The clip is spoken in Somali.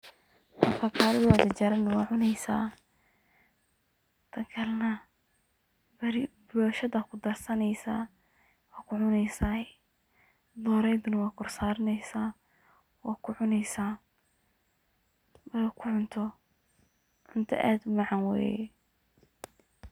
Afakadha jarjaran wad cuneysaa, tan kale na boshadad kudharsaneysa, wad kucuneysaa dooreydana wad korsaraneysa wa kucuneysa, markad ku cunto, cunta aad u macaan weye